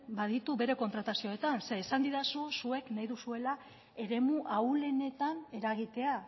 baditu bere kontratazioetan zeren esan didazu zuek nahi duzuela eremu ahulenetan eragitea